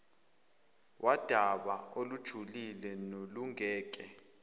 wudaba olujulile nolungeke